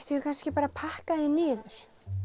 við kannski bara að pakka því niður